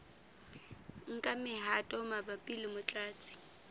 nka mehato mabapi le motlatsi